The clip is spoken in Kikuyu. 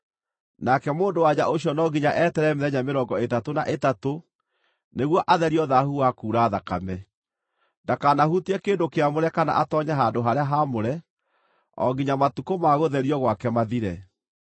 Nake mũndũ-wa-nja ũcio no nginya eterere mĩthenya mĩrongo ĩtatũ na ĩtatũ nĩguo atherio thaahu wa kuura thakame. Ndakanahutie kĩndũ kĩamũre kana atoonye handũ-harĩa-haamũre o nginya matukũ ma gũtherio gwake mathire.